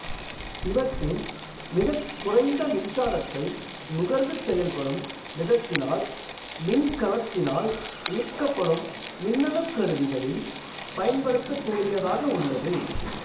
இவற்றின் மிகக் குறைந்த மின்சாரத்தை நுகர்ந்து செயல்படும் விதத்தினால் மின்கலத்தினால்இயக்கப்படும் மின்னணு கருவிகளில் பயன்படுத்தக்கூடியதாக உள்ளது